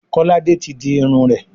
Kolade tí dì Irun rẹ.